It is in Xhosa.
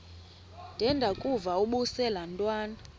ndengakuvaubuse laa ntwana